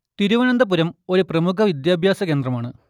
തിരുവനന്തപുരം ഒരു പ്രമുഖ വിദ്യാഭ്യാസ കേന്ദ്രമാണ്